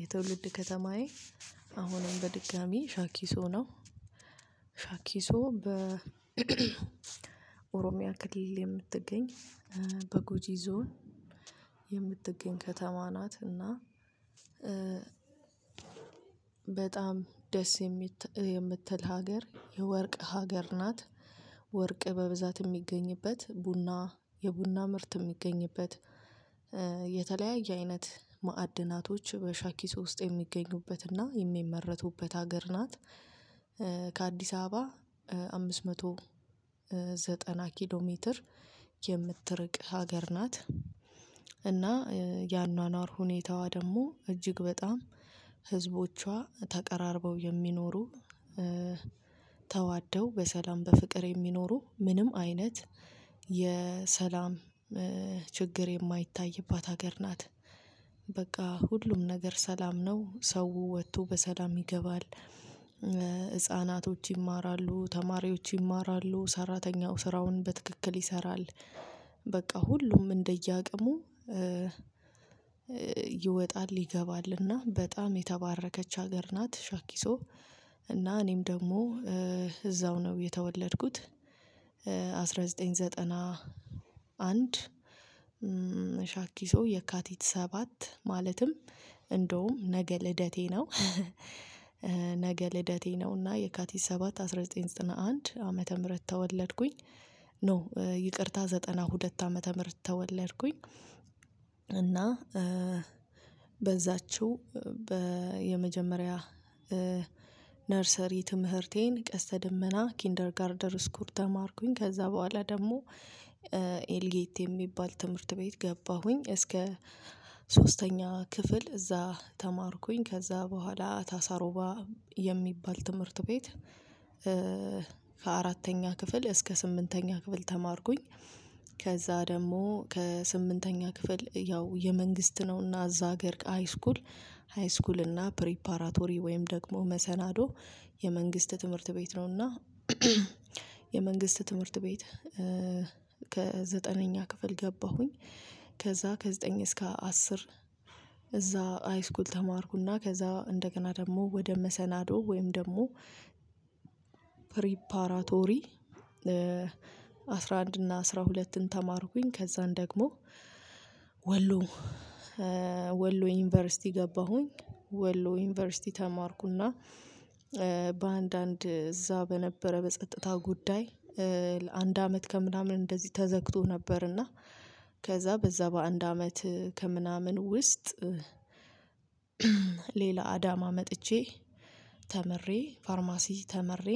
የትውልድ ከተማዬ አሁንም በድጋሚ ሻኪሱ ነው። ሻኪሶ በ ኦሮሚያ ክሊል የምትገኝ በጉጂ ዞን የምትገኝ ከተማ ናት። እና በጣም ደስ የምትል ሀገር የወርቅ ሀገር ናት። ወርቅ በብዛት እሚገኝበት ቡና የቡና ምርት እሚገኝበት። የተለያየ አይነት ማዕድናቶች በሻኪሱ ውስጥ የሚገኙበትና የሚመረቱበት ሀገር ናት። ከአዲስ አበባ አምስት መቶ ዘጠና ኪሎ ሜትር የምትርቅ ሀገር ናት። እና ያኗኗር ሁኔታዋ ደግሞ እጅግ በጣም ህዝቦቿ ተቀራርበው የሚኖሩ ተዋደው በሰላም በፍቅር የሚኖሩ ምንም አይነት የሰላም ችግር የማይታይባት ሀገር ናት። ሁሉም ነገር ሰላም ነው ሰው ወጥቶ በሰላም ይገባል። ህፃናቶች ይማራሉ ተማሪዎች ይማራሉ ሰራተኛው ስራውን በትክክል ይሰራል። በቃ ሁሉም እንደየአቅሙ ይወጣል ይገባልና በጣም የተባረከች ሀገር ናት። ሻኪሶ እና እኔም ደግሞ እዛው ነው የተወለድኩት። አንድ ሺህ ዘጠኝ መቶ ዘጠና አንድ ሻኪሶ የካቲት ሰባት ማለትም እንደውም ነገ ልደቴ ነው። ነገ ልደቴ ነው እና የካቲት ሰባት አስራ ዘጠኝ ዘጠና አንድ ዓመተ ምህረት ተወለድኩኝ። ኖ ይቅርታ ዘጠና ሁለት ዓመተ ምህረት ተወለድኩኝ። እና በዛችው በየመጀመሪያ ነርሰሪ ትምህርቴን ቀስተ ደመና ኪንደርጋርደር ስኩል ተማርኩኝ ከዛ በኋላ ደግሞ ኤልጌት የሚባል ትምህርት ቤት ገባሁኝ እስከ ሶስተኛ ክፍል እዛ ተማርኩኝ። ከዛ በኋላ ታሳሮባ የሚባል ትምህርት ቤት ከአራተኛ ክፍል እስከ ስምንተኛ ክፍል ተማርኩኝ። ከዛ ደግሞ ከስምንተኛ ክፍል ያው የመንግስት ነውና እዛ ሀገር ሃይስኩል ሃይስኩል እና ፕሪፓራቶሪ ወይም ደግሞ መሰናዶ የመንግስት ትምህርት ቤት ነው። እና የመንግስት ትምህርት ቤት ከዘጠነኛ ክፍል ገባሁኝ። ከዛ ከዘጠኝ እስከ አስር እዛ ሃይስኩል ተማርኩና ከዛ እንደገና ደግሞ ወደ መሰናዶ ወይም ደግሞ ፕሪፓራቶሪ አስራ አንድ እና አስራ ሁለትን ተማርኩኝ። ከዛን ደግሞ ወሎ ዩኒቨርሲቲ ገባሁኝ። ወሎ ዩኒቨርሲቲ ተማርኩና በአንዳንድ እዛ በነበረ በጸጥታ ጉዳይ ለአንድ አመት ከምናምን እንደዚህ ተዘግቶ ነበር። እና ከዛ በዛ በአንድ አመት ከምናምን ውስጥ ሌላ አዳማ መጥቼ ተምሬ ፋርማሲ ተምሬ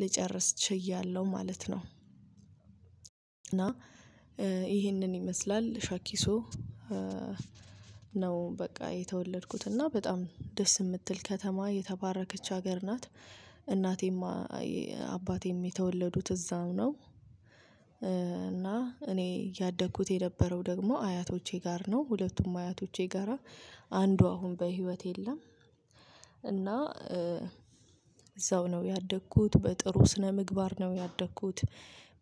ልጨርስ ችያለሁ ማለት ነው። እና ይሄንን ይመስላል ሻኪሶ ነው በቃ የተወለድኩት እና በጣም ደስ እምትል ከተማ የተባረከች ሀገር ናት። እናቴም አባቴም የተወለዱት እዛው ነው። እና እኔ ያደኩት የነበረው ደግሞ አያቶቼ ጋር ነው ሁለቱም አያቶቼ ጋራ አንዱ አሁን በህይወት የለም። እና እዛው ነው ያደኩት በጥሩ ስነምግባር ነው ያደኩት።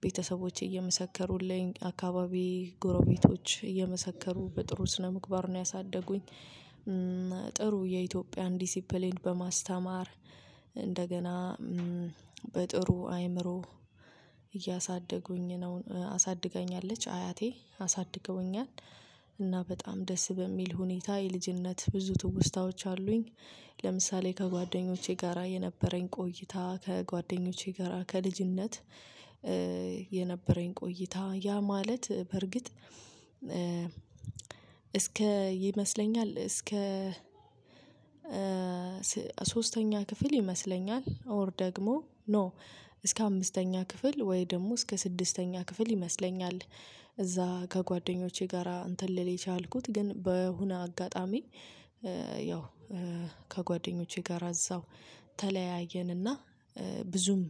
ቤተሰቦቼ እየመሰከሩልኝ አካባቢዬ ጎረቤቶች እየመሰከሩ በጥሩ ስነምግባር ነው ያሳደጉኝ። ጥሩ የኢትዮጵያን ዲሲፕሊን በማስተማር እንደገና በጥሩ አይምሮ እያሳደጉኝ ነው አሳድገኛለች አያቴ አሳድገውኛል። እና በጣም ደስ በሚል ሁኔታ የልጅነት ብዙ ትውስታዎች አሉኝ። ለምሳሌ ከጓደኞቼ ጋራ የነበረኝ ቆይታ ከጓደኞቼ ጋራ ከልጅነት የነበረኝ ቆይታ ያ ማለት በርግጥ እስከ ይመስለኛል እስከ ሶስተኛ ክፍል ይመስለኛል ኦር ደግሞ ኖ እስከ አምስተኛ ክፍል ወይ ደግሞ እስከ ስድስተኛ ክፍል ይመስለኛል። እዛ ከጓደኞቼ ጋራ እንትን ልል የቻልኩት ግን በሆነ አጋጣሚ ያው ከጓደኞቼ ጋር እዛው ተለያየንና ብዙም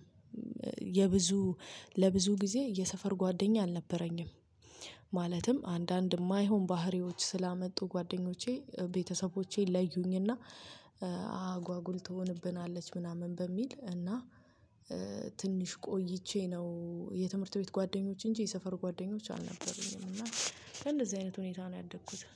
የብዙ ለብዙ ጊዜ የሰፈር ጓደኛ አልነበረኝም። ማለትም አንዳንድ እማይሆን ባህሪዎች ስላመጡ ጓደኞቼ ቤተሰቦቼ ለዩኝና። ትሆንብናለች ምናምን በሚል እና ትንሽ ቆይቼ ነው የትምህርት ቤት ጓደኞች እንጂ የሰፈር ጓደኞች አልነበሩኝም እና በእንደዚህ አይነት ሁኔታ ነው ያደኩት